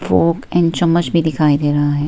Fog and चम्मच भी दिखाई दे रहा है।